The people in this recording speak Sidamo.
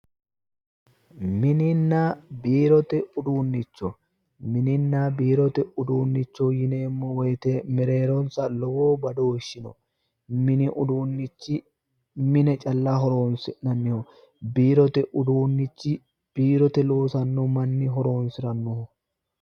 Mininna biirote uduunnicho mininna biirote uduunnicho yineemmo woyite mereeronsa lowo badooshi no mini uduunnichi mine calla horoonsi'nanniho biirote uduunnichi biirote loosanno manni horoonsirannorannoho